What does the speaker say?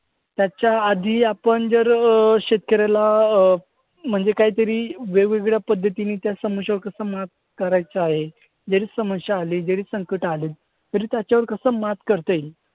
त्याच्याआधी आपण जर अं शेतकऱ्याला अं म्हणजे काहीतरी वेगवेगळ्या पद्धतीने त्या समस्यांवर कसं मात करायचं आहे. जरी समस्या आली, जरी संकट आलं, तरी त्याच्यावर कसं मात करता येईल